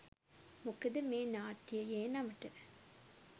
මොකද මේ නාට්‍යයේ නමට